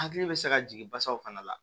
Hakili bɛ se ka jigin basaw fana la